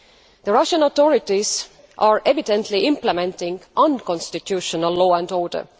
The Russian authorities are evidently implementing unconstitutional law and order.